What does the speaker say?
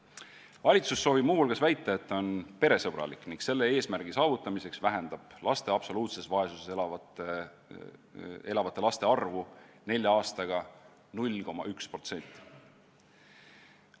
Valitsus soovib muu hulgas väita, et ta on peresõbralik, ning selle eesmärgi saavutamiseks vähendab absoluutses vaesuses elavate laste arvu nelja aastaga 0,1%.